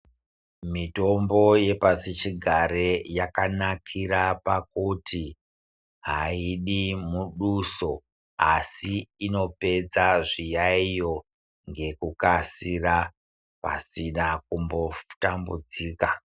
Mitombo yepasichigare yakanikira pakuti aidi muduso asi inopedza zviyaiyo ngekukasika pasina kumbotambudzika.